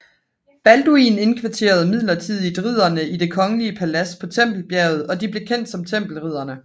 Balduin indkvarterede midlertidigt ridderne i det kongelige palads på Tempelbjerget og de blev kendt som tempelridderne